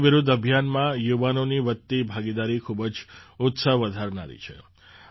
નશા વિરુદ્ધ અભિયાનમાં યુવાનોની વધતી ભાગીદારી ખૂબ જ ઉત્સાહ વધારનારી છે